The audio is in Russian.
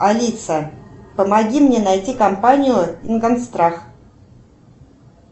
алиса помои мне найти компанию ингорстрах